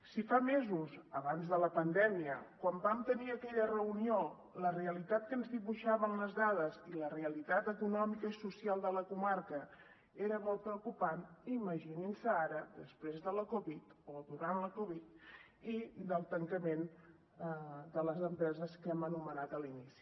si fa mesos abans de la pandèmia quan vam tenir aquella reunió la realitat que ens dibuixaven les dades i la realitat econòmica i social de la comarca era molt preocupant imaginin se ara després de la covid o durant la covid i del tancament de les empreses que hem anomenat a l’inici